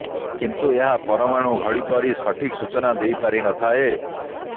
କିନ୍ତୁ ଏହା ପରମାଣୁ ଘଡି ପରି ସଠିକ ସୂଚନା ଦେଇପାରିନଥାଏ